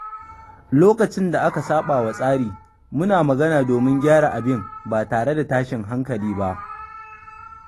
Lokacin da aka saba wa tsari, muna magana domin gyara abin ba tare da tashin hankali ba.